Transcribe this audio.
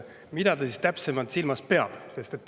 Mida ta täpsemalt silmas peab?